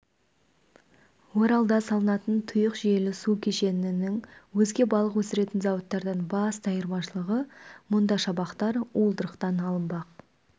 оралда салынатын тұйық жүйелі су кешенінің өзге балық өсіретін зауыттардан басты айырмашылығы мұнда шабақтар уылдырықтан алынбақ